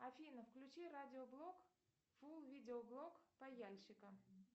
афина включи радиоблог фул видео блог пояльщика